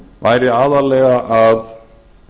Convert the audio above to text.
væri aðallega að